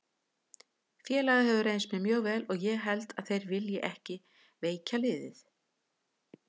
Félagið hefur reynst mér mjög vel og ég held að þeir vilji ekki veikja liðið.